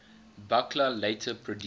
buchla later produced